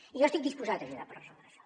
i jo estic disposat a ajudar per resoldre això